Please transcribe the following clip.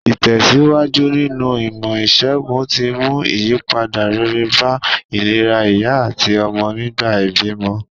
Ìtèsíwájú nínu ìmò ìsègùn ti mú ìyípadà rere bá ìlera ìyá àtí ọmọ nìgbà ìbímọ